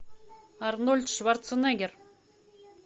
арнольд шварценеггер